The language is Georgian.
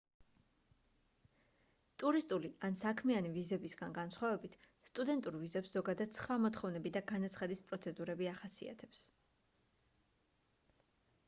ტურისტული ან საქმიანი ვიზებისგან განსხვავებით სტუდენტურ ვიზებს ზოგადად სხვა მოთხოვნები და განაცხადის პროცედურები ახასიათებს